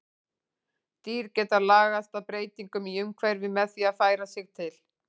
Dýr geta lagast að breytingum í umhverfi með því að færa sig til.